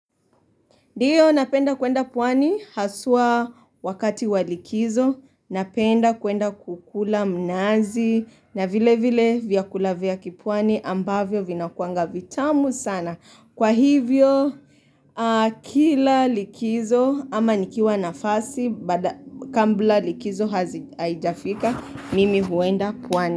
Ndio napenda kuenda pwani haswa wakati wa likizo napenda kuenda kukula mnazi na vile vile vyakula vya kipwani ambavyo vinakuanga vitamu sana. Kwa hivyo kila likizo ama nikiwa nafasi kambula likizo haijafika mimi huenda pwani.